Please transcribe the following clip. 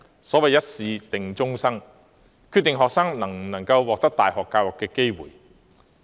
所謂"一試定終生"，一次考試便決定了學生能否獲得大學教育的機會。